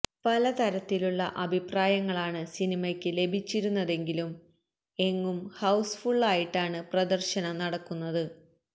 പലതരത്തിലുള്ള അഭിപ്രായങ്ങളാണ് സിനിമയ്ക്ക് ലഭിച്ചിരുന്നതെങ്കിലും എങ്ങും ഹൌസ് ഫുള്ളായിട്ടാണ് പ്രദര്ശനം നടക്കുന്നത്